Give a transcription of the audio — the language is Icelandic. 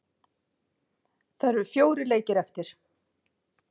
Það eru fjórir leikir eftir.